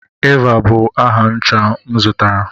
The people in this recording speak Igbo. Eva bụ aha ncha m zụtara.